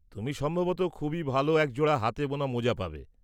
তুমি সম্ভবত খুবই ভাল একজোড়া হাতে বোনা মোজা পাবে।